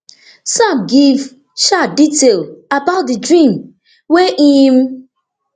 sam give um detail about di dream wey im